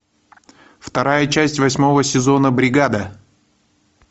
вторая часть восьмого сезона бригада